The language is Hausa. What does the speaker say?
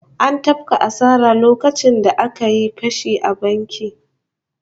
An tafka asara lokacin da aka yi fashi a bankin